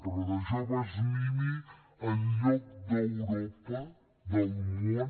però de joves ni nis enlloc d’europa del món